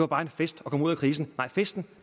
var en fest at komme ud af krisen nej festen